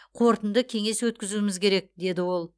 қорытынды кеңес өткізуіміз керек деді ол